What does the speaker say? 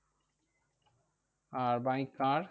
R by car